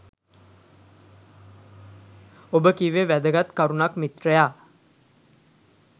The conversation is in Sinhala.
ඔබ කිව්වෙ වැදගත් කරුණක් මිත්‍රයා